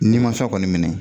Niman fɛn kɔni minɛ